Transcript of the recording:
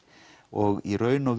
og í raun